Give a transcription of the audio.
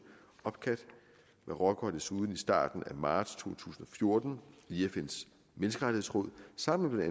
opcat marokko har desuden i starten af marts to tusind og fjorten via fns menneskerettighedsråd sammen med